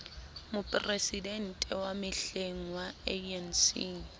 moporesidente wa mehleng wa anc